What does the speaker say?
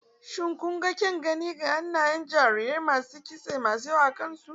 Shin, kun ga kyan gani na hannayen jarirai masu kitse mai yawa akan su?